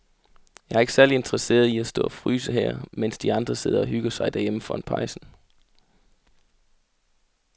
Jeg er ikke særlig interesseret i at stå og fryse her, mens de andre sidder og hygger sig derhjemme foran pejsen.